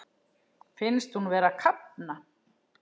Finnst hún vera að kafna.